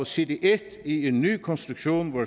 side en i en nye konstruktion hvor